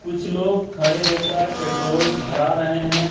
कुछ लोग खड़े होकर पेट्रोल भरा रहे हैं।